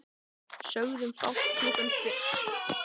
Sögðum fátt klukkan fimm í hátt uppi vorsól.